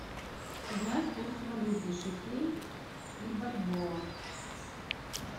узнать курс валюты шекель и бальбоа